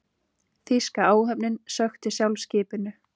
Þýska áhöfnin sökkti sjálf skipinu.